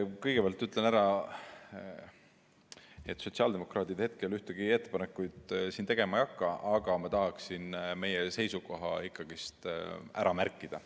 Kõigepealt ütlen ära, et sotsiaaldemokraadid ühtegi ettepanekut siin tegema ei hakka, aga ma tahaksin meie seisukoha ikkagi ära märkida.